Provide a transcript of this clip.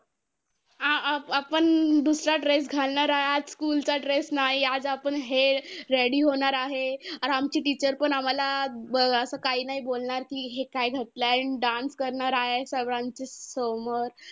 आ आ आपण दुसरा dress घालणार आहे, आज school चा dress नाही. आज आपण हे ready होणार आहे. आणि आमची teacher पण आम्हांला अं असं काय नाही बोलणार. कि हे काय घातलंय अन dance करणार आहे सगळ्यांच्या समोर.